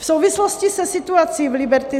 V souvislosti se situací v Liberty